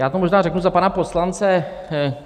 Já to možná řeknu za pana poslance.